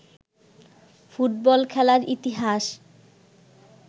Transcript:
football খেলার ইতিহাস